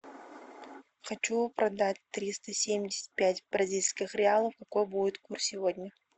хочу продать триста семьдесят пять бразильских реалов какой будет курс сегодня